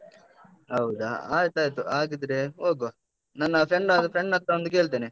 ಹೌದಾ, ಆಯ್ತಯ್ತು. ಹಾಗಿದ್ರೆ ಹೋಗವ. ನನ್ನ friend ಆದ friend ಹತ್ರ ಒಂದು ಕೇಳ್ತೆನೆ.